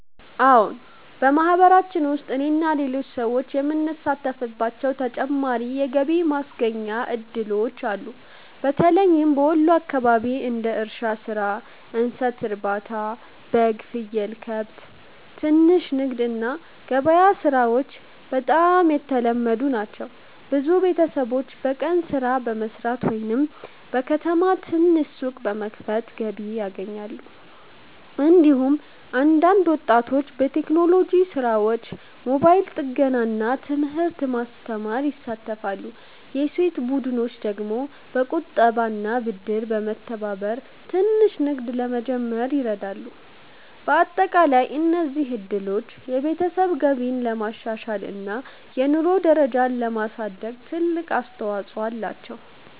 አዎን፣ በማህበረሰባችን ውስጥ እኔና ሌሎች ሰዎች የምንሳተፍባቸው ተጨማሪ የገቢ ማስገኛ እድሎች አሉ። በተለይም በወሎ አካባቢ እንደ እርሻ ሥራ፣ እንስሳት ማርባት (በግ፣ ፍየል፣ ከብት)፣ ትንሽ ንግድ እና ገበያ ሥራዎች በጣም የተለመዱ ናቸው። ብዙ ቤተሰቦች በቀን ሥራ በመስራት ወይም በከተማ ትንሽ ሱቅ በመክፈት ገቢ ያገኛሉ። እንዲሁም አንዳንድ ወጣቶች በቴክኖሎጂ ሥራዎች፣ ሞባይል ጥገና እና ትምህርት ማስተማር ይሳተፋሉ። የሴቶች ቡድኖች ደግሞ በቁጠባና ብድር በመተባበር ትንሽ ንግድ ለመጀመር ይረዳሉ። በአጠቃላይ እነዚህ እድሎች የቤተሰብ ገቢን ለማሻሻል እና የኑሮ ደረጃን ለማሳደግ ትልቅ አስተዋፅኦ አላቸው።